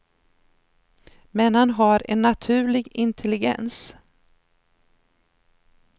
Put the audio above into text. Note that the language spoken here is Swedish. Men han har en naturlig intelligens.